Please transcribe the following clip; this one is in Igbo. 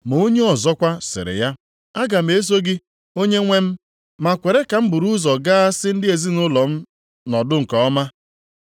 Ma onye ọzọkwa, sịrị ya, “Aga m eso gị, Onyenwe m, ma kwere ka m buru ụzọ gaa sị ndị ezinaụlọ m nọdụnụ nke ọma.”